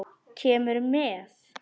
Kemurðu með?